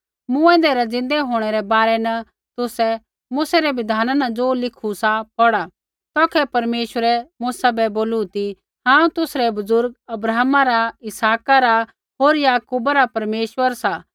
मूँऐंदै रै ज़िन्दै होंणै रै बारै तुसै मूसै री बिधान न ज़ो लिखू सा पौढ़ा तौखै परमेश्वरै मूसा बै बोलू ती हांऊँ तुसरै बुज़ुर्ग अब्राहमा रा इसहाका रा होर याकूबा रा परमेश्वर सा